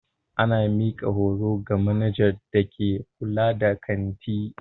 Ana mika horo ga manajan da ke kulla da kanti.